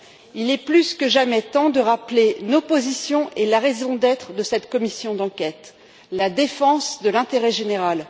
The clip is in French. Il est plus que jamais temps de rappeler nos positions et la raison d'être de cette commission d'enquête la défense de l'intérêt général.